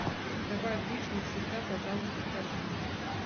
добавь вишня всегда пожалуйста в корзину